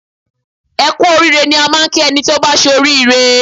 Ẹ Kú orí ire ni a ń kí ẹni tí ó bá ṣe oríire